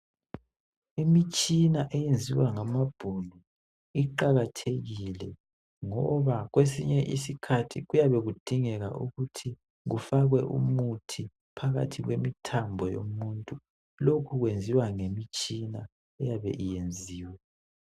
Imitshina eyenziwa ngamabhunu iqakathekile ngoba kwesinye isikhathi kuyabe kudingeka ukuthi kufakwe umuthi phakathi kwemithambo yomuntu lokhu kwenziwa ngemitshina eyabe yenziwe